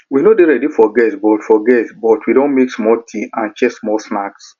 we no dey ready for guests but for guests but we don make small tea and share small snacks